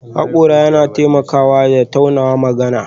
Hakora na taunawa da taimakawa magana